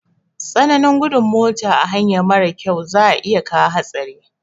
Tsananin gudun mota a hanya marar kyau za iya kawo hatsari